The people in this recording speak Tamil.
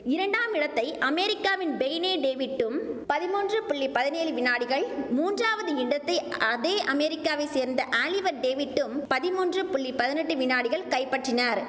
இரண்டாம் இடத்தை அமேரிக்காவின் பேய்னே டேவிட்டும் பதிமூன்று புள்ளி பதினேழு வினாடிகள் மூன்றாவது இடத்தை அதே அமெரிக்காவை சேர்ந்த ஆலிவர் டேவிட்டும் பதிமூன்று புள்ளி பதினெட்டு வினாடிகள் கைப்பற்றினர்